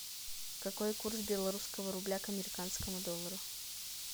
какой курс белорусского рубля к американскому доллару